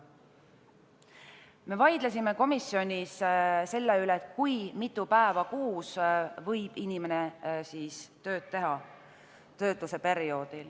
Me vaidlesime komisjonis selle üle, kui mitu päeva kuus võib inimene töötuse perioodil tööd teha.